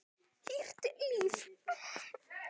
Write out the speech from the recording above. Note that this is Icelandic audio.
Hýrt líf